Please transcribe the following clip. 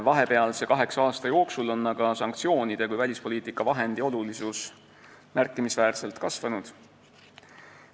Vahepealse kaheksa aasta jooksul on sanktsioonide kui välispoliitika vahendi olulisus märkimisväärselt kasvanud.